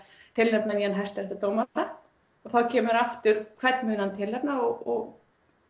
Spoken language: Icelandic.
tilnefna nýjan hæstaréttardómara og þá kemur aftur hvern hann muni tilnefna og